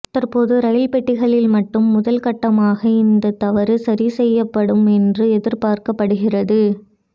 தற்போது ரயில் பெட்டிகளில் மட்டும் முதல் கட்டமாக இந்த தவறு சரி செய்யப்படும் என்று எதிர்பார்க்கப்படுகிறது